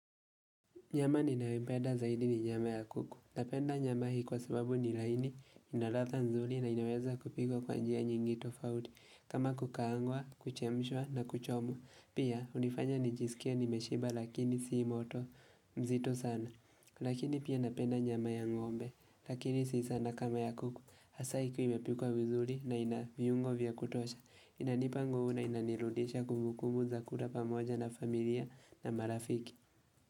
Nyama ninayoipenda zaidi ni nyama ya kuku. Napenda nyama hii kwa sababu nilaini, inalatha nzuri na inaweza kupikwa kwa njia nyingi to fauti. Kama kukaangwa, kuchemshwa na kuchomwa. Pia, hunifanya nijisikie nimeshiba lakini sii moto mzito sana. Lakini pia napenda nyama ya ngombe. Lakini sii sana kama ya kuku. Hasa ikiwa imepikwa vizuri na inaviungo vya kutosha. Inanipa nguvu na inanirudisha kumbukumbu za kula pamoja na familia na marafiki.